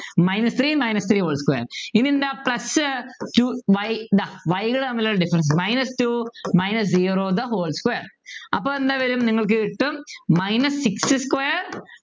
Minus three minus three whole square ഇനിയെന്താ ഇതാ plus two y ഇതാ Y കൾ തമ്മിലുള്ള Difference Minus two minus zero the whole square അപ്പൊ എന്താ വരും നിങ്ങൾക്ക് കിട്ടും minus six square